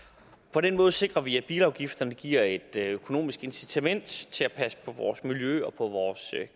på den måde sikrer vi at bilafgifterne giver et økonomisk incitament til at passe på vores miljø og vores